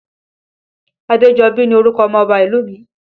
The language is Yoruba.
Adejobi ni orúkọ ọmọ Ọba ìlú mi